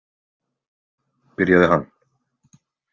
, byrjaði hann.